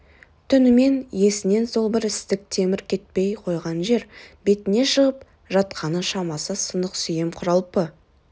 түнімен есінен сол бір істік темір кетпей қойған жер бетіне шығып жатқаны шамасы сынық сүйем құралпы